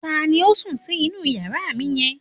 Ta ni ó sùn sí inú yàrá mi yẹn?